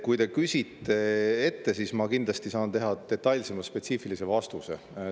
Kui te küsite ette, siis ma kindlasti saan anda detailsema, spetsiifilise vastuse.